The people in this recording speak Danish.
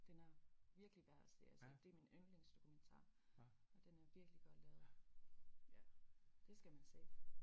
Den er virkelig værd at se altså det er min yndlings dokumentar og den er virkelig godt lavet ja det skal man se